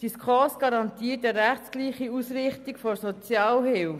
Die SKOS garantiert eine rechtsgleiche Ausrichtung der Sozialhilfe.